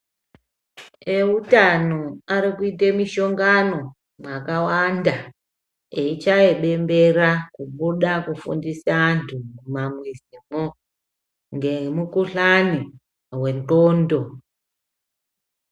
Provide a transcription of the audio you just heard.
Eutano ari kuite mishongano mwakawanda veichaye bembera kubude eifundisa vantu ngemikuhlani yendxondo.